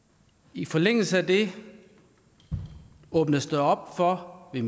i forlængelse af det åbnes der op for at